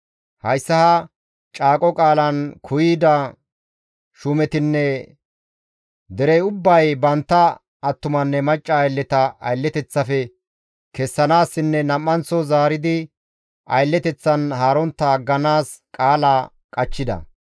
Hayssa ha caaqo qaalan kuuyida shuumetinne derey ubbay bantta attumanne macca aylleta aylleteththafe kessanaassinne nam7anththo zaaridi aylleteththan haarontta agganaas qaala qachchida.